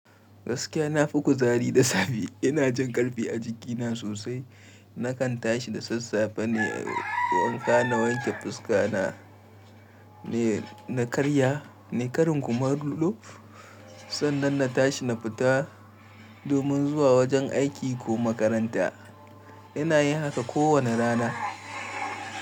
Gaskiya na fi kuzari da safe. Ina jin ƙarfi a jikina sosai. Nakan tashi da sassafe ne, nayi wanka, na wanke fuska, na karya nai karin kumallo, sannan na tashi na fita domin zuwa wajen aiki ko makaranta. Ina yin haka kowane rana.